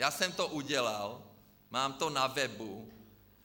Já jsem to udělal, mám to na webu.